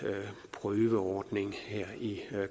prøveordning her i